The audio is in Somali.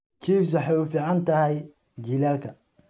Chives waxay u fiican tahay jiilaalka.